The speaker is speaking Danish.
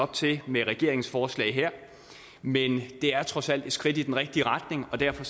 til med regeringens forslag her men det er trods alt et skridt i den rigtige retning og derfor